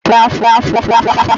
Mba, taa abụghị afọ.